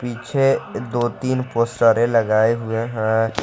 पीछे दो तीन पोस्टरे लगाए हुए हैं।